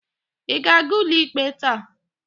Ị ga-aga ụlọikpe taa?